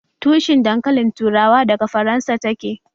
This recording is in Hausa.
Tushin dankalin turawa daga Faransa ta ke